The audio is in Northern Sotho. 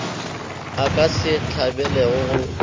a ka se thabelego go